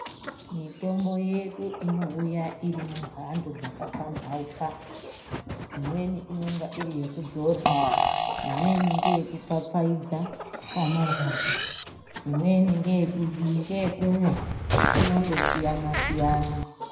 Mitombo yedu inouya inemhando dzakaphambauka imweni inonga iri yekudzora imweni ngeekufafaidza panorwadza panorwadza imweni ngeyekumwa inondosiyana siyana.